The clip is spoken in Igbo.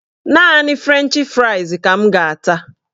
Naanị frenchị frais ka m ga-ata